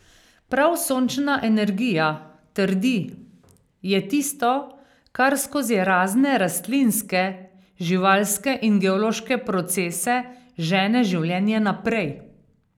Prav sončna energija, trdi, je tisto, kar skozi razne rastlinske, živalske in geološke procese žene življenje naprej.